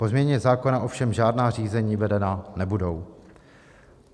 Po změně zákona ovšem žádná řízení vedena nebudou.